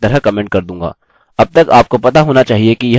अब तक आपको पता होना चाहिए कि यह कैसे करें